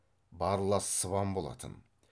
барлас сыбан болатын